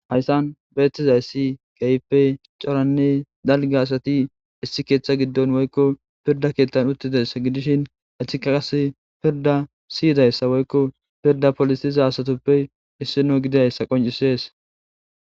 hayssan beettizayssi keehippe coranne dalgi asati issi keeththa giddon woykko pirda keettan uttidayssa gidishin ethikaas pirda siyidayssa woykko pirda polisiza asatoppe issino gidayssa qoncisees.